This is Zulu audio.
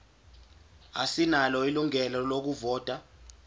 asinalo ilungelo lokuvota